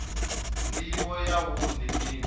ndivho ya wua ndi mini